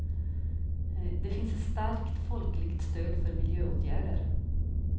Det finns ett starkt folkligt stöd för miljöåtgärder.